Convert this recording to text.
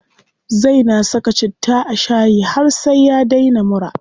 Zai na saka citta a shayi har sai ya daina mura.